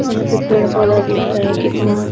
यहाँ पे पेड़ पौधा दिख रहा है कितना